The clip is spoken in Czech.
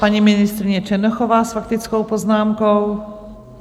Paní ministryně Černochová s faktickou poznámkou.